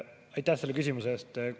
Aitäh selle küsimuse eest!